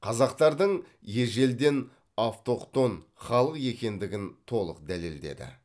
қазақтардың ежелден автохтон халық екендігін толық дәлелдеді